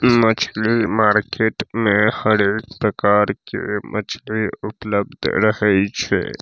उम्म मछली मार्केट में हर एक प्रकार के मछली उपलब्ध रहय छै।